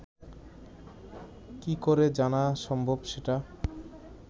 কী করে জানা সম্ভব সেটা